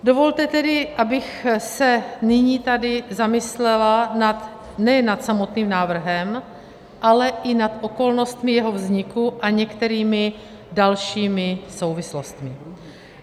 Dovolte tedy, abych se nyní tady zamyslela nad nejen samotným návrhem, ale i nad okolnostmi jeho vzniku a některými dalšími souvislostmi.